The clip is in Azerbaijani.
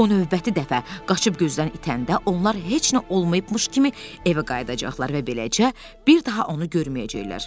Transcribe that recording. O növbəti dəfə qaçıb gözdən itəndə onlar heç nə olmayıbmış kimi evə qayıdacaqlar və beləcə bir daha onu görməyəcəklər.